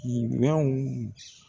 minfɛnw